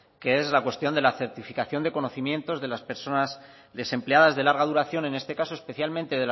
que es la cuestión de la certificación de conocimientos de las personas desempleadas de larga duración en este caso especialmente